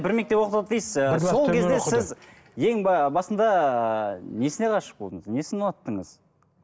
бір мектепте оқыдық дейсіз ы сол кезде сіз басында несіне ғашық болдыңыз несін ұнаттыңыз